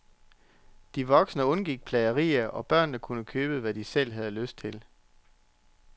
De voksne undgik plagerier, og børnene kunne købe, hvad de selv havde lyst til.